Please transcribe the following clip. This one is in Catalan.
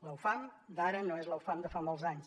la ufam d’ara no és la ufam de fa molts anys